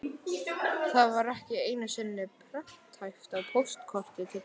Það var ekki einu sinni prenthæft á póstkorti til Tobba.